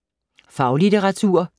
Faglitteratur